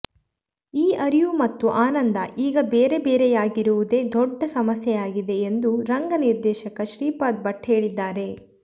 ಈ ಅರಿವು ಮತ್ತು ಆನಂದ ಈಗ ಬೇರೆ ಬೇರೆಯಾಗಿರುವುದೇ ದೊಡ್ಡ ಸಮಸ್ಯೆಯಾಗಿದೆ ಎಂದು ರಂಗ ನಿರ್ದೇಶಕ ಶ್ರೀಪಾದ ಭಟ್ ಹೇಳಿದ್ದಾರೆ